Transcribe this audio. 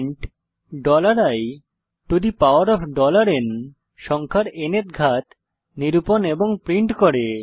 print iন সংখ্যার ন্থ ঘাত নিরূপন এবং প্রিন্ট করে